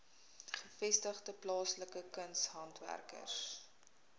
gevestigde plaaslike kunshandwerkers